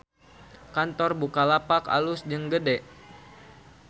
Kantor Bukalapak alus jeung gede